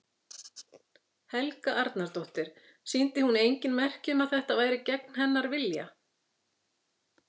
Helga Arnardóttir: Sýndi hún engin merki um að þetta væri gegn hennar vilja?